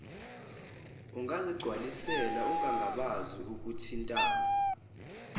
ungazigcwalisela ungangabazi ukuthintana